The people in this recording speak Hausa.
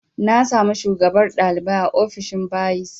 Na samu shugabar ɗalibai a ofishin bayis